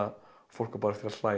fólk á bara eftir að hlæja